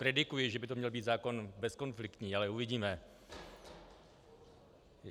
Predikuji, že by to měl být zákon bezkonfliktní, ale uvidíme.